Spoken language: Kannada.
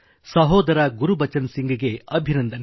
ಸಹೋದರ ಗುರ್ಬಚನ್ ಸಿಂಘ್ ಗೆ ಅಭಿನಂದನೆ